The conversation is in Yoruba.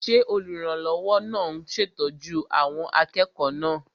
Ṣé olùrànlọ́wọ́ náà ń ṣètọ́jú àwọn akẹ́kọ̀ọ́ náà?